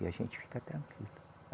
E a gente fica tranquilo.